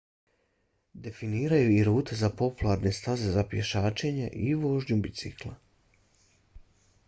definiraju i rute za popularne staze za pješačenje i vožnju bicikla